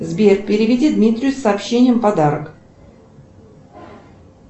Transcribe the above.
сбер переведи дмитрию с сообщением подарок